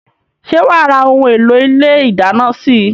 Ṣé wá ra òun èlò ilé ìdáná síí?